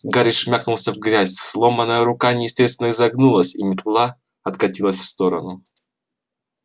гарри шмякнулся в грязь сломанная рука неестественно изогнулась и метла откатилась в сторону